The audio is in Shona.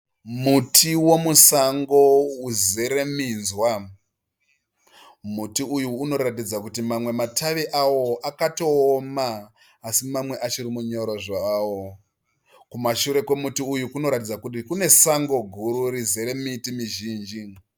Muti wemusango uzere minzwa. Muti uyu unoratidza kuti mamwe matavi awo akatooma asi mamwe achiri manyoro zvawo. Kumashure kwemuti uyu kunotaridza kuti kune sango guru rizere miti mizhinji.